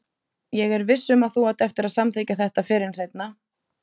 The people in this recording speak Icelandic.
Ég er viss um að þú átt eftir að samþykkja þetta fyrr en seinna.